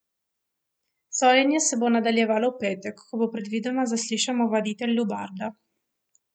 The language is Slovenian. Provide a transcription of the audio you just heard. Sojenje se bo nadaljevalo v petek, ko bo predvidoma zaslišan ovaditelj Lubarda.